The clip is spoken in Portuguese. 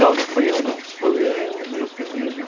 Não, não fui eu não, fui eu, os meus meninos,